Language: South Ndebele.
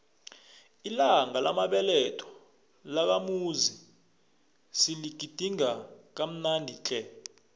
ilanga lamabeletho lakamuzi siligidinge kamnandi tle